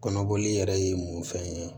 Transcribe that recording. Kɔnɔboli yɛrɛ ye mun fɛn ye